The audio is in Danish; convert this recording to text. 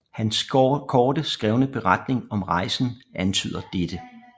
Hans korte skrevne beretning om rejsen antyder dette